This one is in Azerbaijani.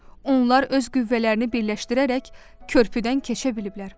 Onlar öz qüvvələrini birləşdirərək körpüdən keçə biliblər.